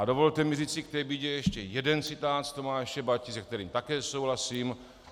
A dovolte mi říci k té bídě ještě jeden citát z Tomáše Bati, se kterým také souhlasím.